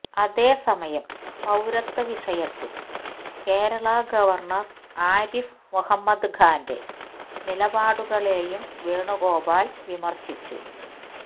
അതേസമയം പൌരത്വ വിഷയത്തില് കേരള ഗവർണർ ആരിഫ് മുഹമ്മദ് ഖാന്റെ നിലപാടുകളെയും വേണുഗോപാൽ വിമർശിച്ചു